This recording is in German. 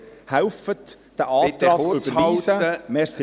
Helfen Sie, diesen Antrag zu überweisen.